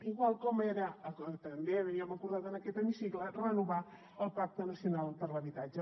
igual com també havíem acordat en aquest hemicicle renovar el pacte nacional per a l’habitatge